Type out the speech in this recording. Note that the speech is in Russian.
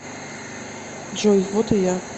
джой вот и я